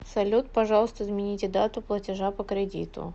салют пожалуйста измените дату платежа по кредиту